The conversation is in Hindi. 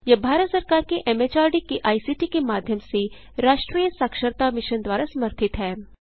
यह भारत सरकार के एमएचआरडी के आईसीटी के माध्यम से राष्ट्रीय साक्षरता मिशन द्वारा समर्थित है